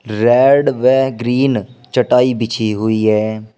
Red व green चटाई बिछी हुईं है।